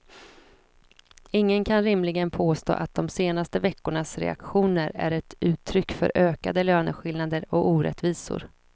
Ingen kan rimligen påstå att de senaste veckornas reaktioner är ett uttryck för ökade löneskillnader och orättvisor.